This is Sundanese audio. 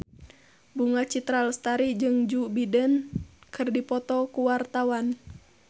Bunga Citra Lestari jeung Joe Biden keur dipoto ku wartawan